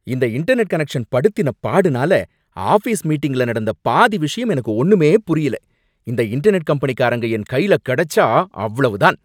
இந்த internet connection படுத்தின பாடுனால ஆஃபீஸ் மீட்டிங்ல நடந்த பாதி விஷயம் எனக்கு ஒன்னுமே புரியல. இந்த இன்டர்நெட் கம்பெனிகாரங்க என் கையில கிடைச்சா அவ்ளோ தான்!